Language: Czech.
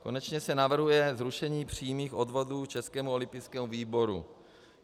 Konečně se navrhuje zrušení přímých odvodů Českému olympijskému výboru.